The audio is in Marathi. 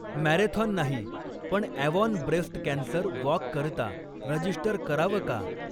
मॅरेथॉन नाही पण अॅवॉन ब्रेस्ट कॅन्सर वॉककरता रजिस्टर करावं का ?